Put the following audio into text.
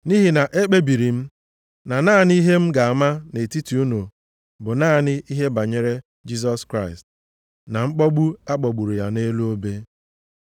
Nʼihi na ekpebiri m na naanị ihe m ga-ama nʼetiti unu bụ naanị ihe banyere Jisọs Kraịst na mkpọgbu a kpọgburu ya nʼelu obe.